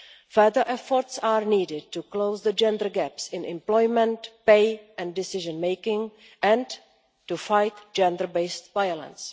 Further efforts are needed to close the gender gaps in employment, pay and decision making and to fight gender based violence.